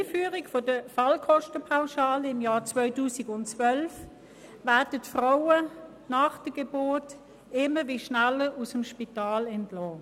Seit Einführung der Fallkostenpauschale im Jahr 2012 werden die Frauen nach der Geburt immer schneller aus dem Spital entlassen.